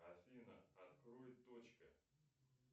афина открой точка